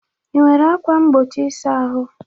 Ị nwere ákwà mgbochi ịsa ahụ?